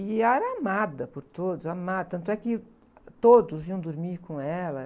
E era amada por todos, amada, tanto é que todos iam dormir com ela.